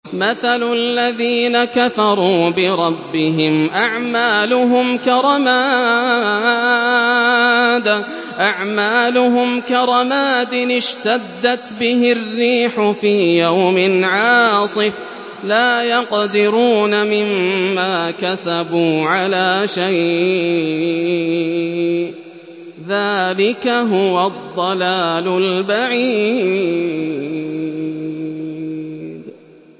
مَّثَلُ الَّذِينَ كَفَرُوا بِرَبِّهِمْ ۖ أَعْمَالُهُمْ كَرَمَادٍ اشْتَدَّتْ بِهِ الرِّيحُ فِي يَوْمٍ عَاصِفٍ ۖ لَّا يَقْدِرُونَ مِمَّا كَسَبُوا عَلَىٰ شَيْءٍ ۚ ذَٰلِكَ هُوَ الضَّلَالُ الْبَعِيدُ